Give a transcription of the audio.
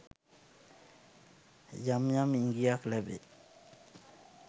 යම් යම් ඉඟියක් ලැබෙයි